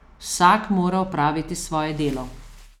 Vsak mora opraviti svoje delo.